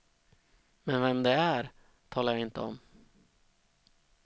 Men vem det är, talar jag inte om.